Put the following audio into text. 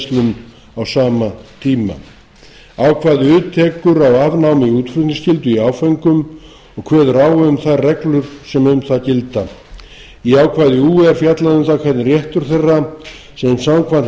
beingreiðslum á sama tíma ákvæði u tekur á afnámi útflutningsskyldu í áföngum og kveður á um þær reglur sem um það gilda í ákvæði ú er fjallað um það hvernig réttur þeirra sem samkvæmt